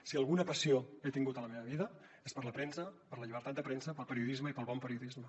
si alguna passió he tingut a la meva vida és per la premsa per la llibertat de premsa pel periodisme i pel bon periodisme